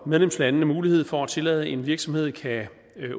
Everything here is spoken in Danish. medlemslandene mulighed for at tillade at en virksomhed kan